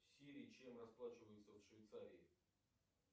сири чем расплачиваются в швейцарии